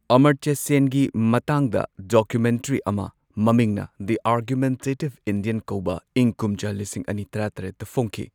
ꯑꯃꯔꯇ꯭ꯌ ꯁꯦꯟꯒꯤ ꯃꯇꯥꯡꯗ ꯗꯣꯀꯨꯃꯦꯟꯇꯔꯤ ꯑꯃ, ꯃꯃꯤꯡꯅꯗꯤ ꯗꯤ ꯑꯥꯔꯒꯨꯃꯦꯟꯇꯦꯇꯤꯚ ꯏꯟꯗꯤꯌꯟ ꯀꯧꯕ ꯏꯪ ꯀꯨꯝꯖꯥ ꯂꯤꯁꯤꯡ ꯑꯅꯤ ꯇꯔꯥꯇꯔꯦꯠꯇ ꯐꯣꯡꯈꯤ꯫